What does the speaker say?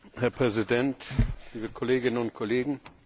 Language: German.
Herr Präsident, liebe Kolleginnen und Kollegen!